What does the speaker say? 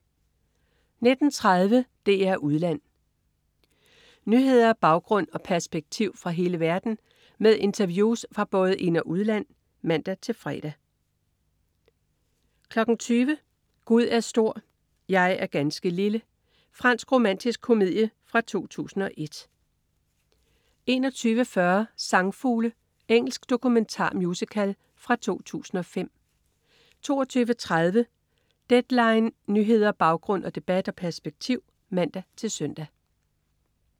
19.30 DR2 Udland. Nyheder, baggrund og perspektiv fra hele verden med interviews fra både ind- og udland (man-fre) 20.00 Gud er stor, jeg er ganske lille. Fransk romantisk komedie fra 2001 21.40 Sangfugle. Engelsk dokumentar-musical fra 2005 22.30 Deadline. Nyheder, baggrund, debat og perspektiv (man-søn)